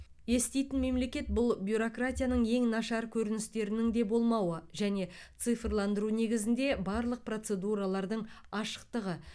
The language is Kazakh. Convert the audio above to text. еститін мемлекет бұл бюрократияның ең нашар көріністерінің де болмауы және цифрландыру негізінде барлық процедуралардың ашықтығы